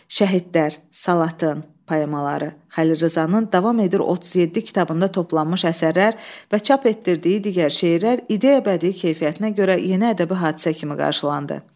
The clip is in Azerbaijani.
Şəhidlər salatın poemaları Xəlil Rza'nın davam edir 37 kitabında toplanmış əsərlər və çap etdirdiyi digər şeirlər ideya bədii keyfiyyətinə görə yeni ədəbi hadisə kimi qarşılandı.